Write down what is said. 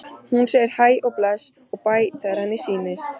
Hún segir hæ og bless og bæ þegar henni sýnist!